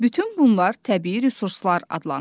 Bütün bunlar təbii resurslar adlanır.